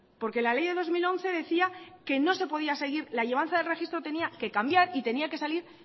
porque la ley de dos mil once decía que no se podía seguir la llevanza del registro tendría que cambiar y tenía que salir